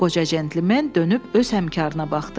Qoca centlimen dönüb öz həmkarına baxdı.